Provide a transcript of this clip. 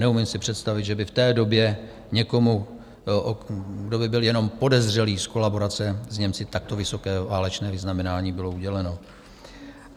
Neumím si představit, že by v té době někomu, kdo by byl jenom podezřelý z kolaborace s Němci, takto vysoké válečné vyznamenání bylo uděleno.